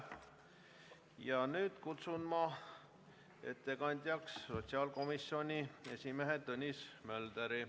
Ja nüüd kutsun ettekandjaks sotsiaalkomisjoni esimehe Tõnis Mölderi.